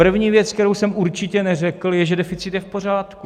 První věc, kterou jsem určitě neřekl, je, že deficit je v pořádku.